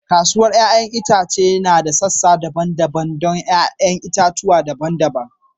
Kasuwar 'ya'yan itace suna da sassa daban-daban don 'ya'yan itatuwa daban-daban.